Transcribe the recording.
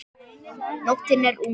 Nóttin er ung